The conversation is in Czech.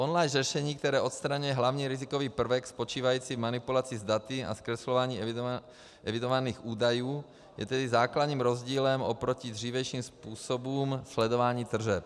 Online řešení, které odstraňuje hlavní rizikový prvek spočívající v manipulaci s daty a zkreslování evidovaných údajů, je tedy základním rozdílem oproti dřívějším způsobům sledování tržeb.